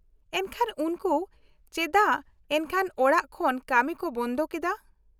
- ᱮᱱᱠᱷᱟᱱ ᱩᱱᱠᱩ ᱪᱮᱫᱟᱜ ᱮᱱᱠᱷᱟᱱ ᱚᱲᱟᱜ ᱠᱷᱚᱱ ᱠᱟᱹᱢᱤ ᱠᱚ ᱵᱚᱱᱫᱷᱚ ᱠᱮᱫᱟ ?